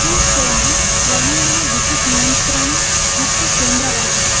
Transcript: ಈ ಕೋಣೆ ದೈನಂದಿನ ವಿದ್ಯುತ್ ನಿಯಂತ್ರಣ ಮುಖ್ಯ ಕೇಂದ್ರವಾಗಿದೆ.